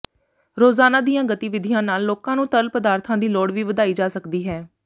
ਰੋਜ਼ਾਨਾ ਦੀਆਂ ਗਤੀਵਿਧੀਆਂ ਨਾਲ ਲੋਕਾਂ ਨੂੰ ਤਰਲ ਪਦਾਰਥਾਂ ਦੀ ਲੋੜ ਵੀ ਵਧਾਈ ਜਾ ਸਕਦੀ ਹੈ